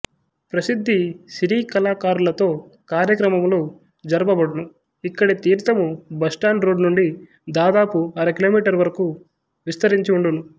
ప్రసిద్ధ సినీ కళాకారులతో కార్యక్రమములు జరుపబడును ఇక్కడి తీర్దము బస్టాండ్ రోడ్డు నుండి దాదాపు అరకిలోమీటరు వరకూ విస్తరించి ఉండును